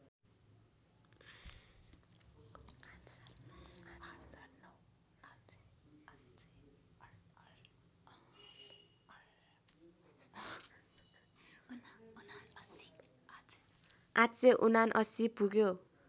८७९ पुग्यो